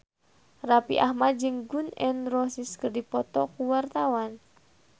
Raffi Ahmad jeung Gun N Roses keur dipoto ku wartawan